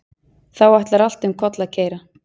Þá ætlar allt um koll að keyra.